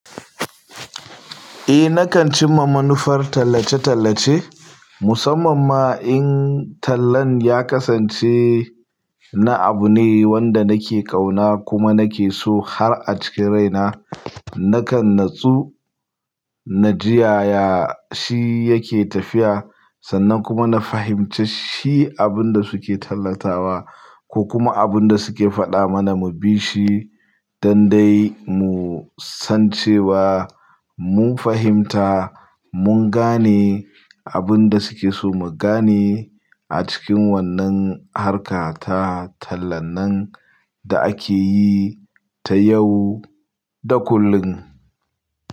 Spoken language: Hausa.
Eh nakan cimma manufar tallace-tallace, musamman ma in tallan ya kasance. Na abu ne wanda nake kauna kuma nake so har a cikin rai na. Nakan natsu na ji yaya shi yake tafiya. Sannan kuma na fahimci shi abin da suke tallatawa ko kuma abin da suke faɗa mana mu bi shi. Dan dai mu san cewa mun fahimta, mun gane. Abin da suke so mu gane a cikin wannan harka ta tallan nan. Da ake yi ta yau da kullum.